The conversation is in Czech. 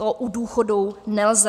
To u důchodů nelze.